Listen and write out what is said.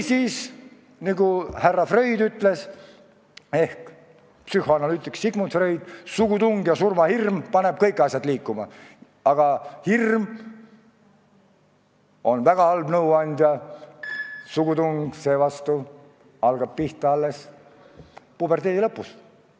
Psühhoanalüütik härra Sigmund Freud on küll öelnud, et sugutung ja surmahirm panevad kõik asjad liikuma, aga hirm on väga halb nõuandja ja sugutung algab pihta alles puberteedi lõpus.